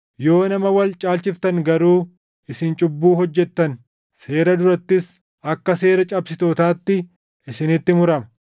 Yoo nama wal caalchiftan garuu isin cubbuu hojjettan; seera durattis akka seera cabsitootaatti isinitti murama.